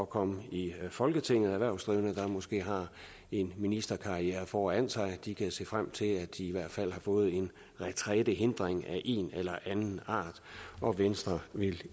komme i folketinget det er erhvervsdrivende som måske har en ministerkarriere foran sig de kan se frem til at de i hvert fald har fået en retrætehindring af en eller anden art og venstre vil